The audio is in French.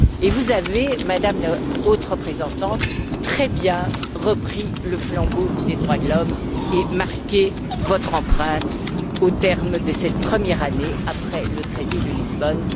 Et vous avez, Madame la Haute représentante, très bien repris le flambeau des droits de l'homme et marqué votre empreinte au terme de cette première année après le traité de Lisbonne.